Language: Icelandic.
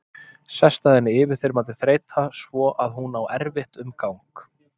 Sest að henni yfirþyrmandi þreyta svo að hún á erfitt um gang.